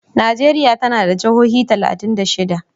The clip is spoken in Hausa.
Najeriya tana da jihohi talatin da shida.